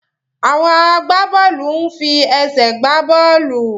Àwọn agbábọ́ọ̀lù ń fi ẹsẹ̀ gbá bọ́ọ̀lù.